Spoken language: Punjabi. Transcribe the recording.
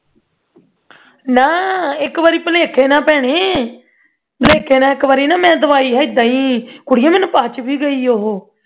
ਨਾਂ ਇਕ ਵਾਰੀ ਭੁਲੇਖੇ ਨਾਲ ਪੈਣਾ ਭੁਲੇਖੇ ਨਾਲ ਨਾ ਇਕ ਵਾਰ ਨਾਹ ਮੈਂ ਦਵਾਈ ਹੀ ਨਾਂ ਮੈਂ ਏਦਾਂ ਹੀ ਕੁੜੀਏ ਦਵਾਈ ਮੈਨੂੰ ਪਚਵੀ ਗਈ ਉਹ